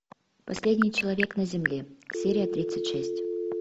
последний человек на земле серия тридцать шесть